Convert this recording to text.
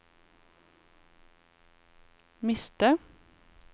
miste